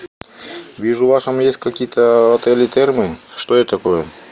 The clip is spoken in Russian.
вижу у вас там есть какие то отели термы что это такое